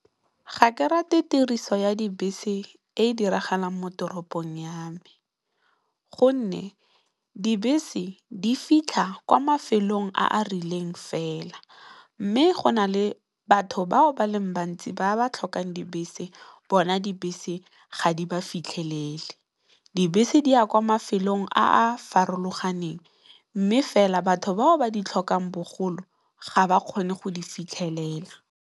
Ga ke rate tiriso ya dibese e diragalang mo toropong ya me gonne, dibese di fitlha kwa mafelong a a rileng fela. Mme, go na le batho bao ba le bantsi ba ba tlhokang dibese bona ga di ba fitlhelele. Dibese di ya kwa mafelong a a farologaneng mme, fela batho bao ba di tlhokang bogolo ga ba kgone go di fitlhelela.